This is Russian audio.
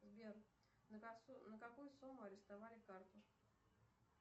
сбер на какую сумму арестовали карту